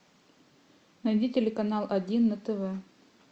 найди телеканал один на тв